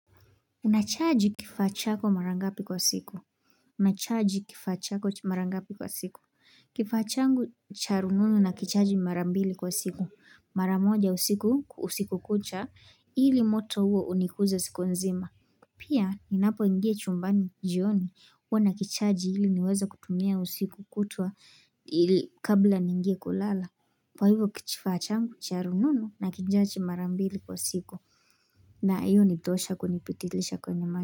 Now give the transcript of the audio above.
Unachaji kifaa chako mara ngapi kwa siku. Unachaji kifaa chako mara ngapi kwa siku. Kifaa changu cha rununu na kichaji mara mbili kwa siku. Mara moja usiku, usiku kucha. Ili moto huo unikuze siku nzima. Pia, ninapo ingia chumbani jioni. Huwa na kichaji ili niweza kutumia usiku kutwa kabla ningie kulala. Kwa hivyo kifaa changu charununu na kichaji marambili kwa siku. Na iyo ni tosha kunipitilisha kwenye.